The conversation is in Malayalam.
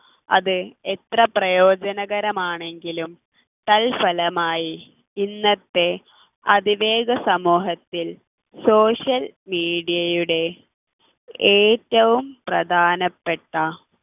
എത്ര പ്രയോജനകരമാണെങ്കിലും തൽഫലമായി ഇന്നത്തെ അതിവേഗ സമൂഹത്തിൽ social media യുടെ ഏറ്റവും പ്രധാനപ്പെട്ട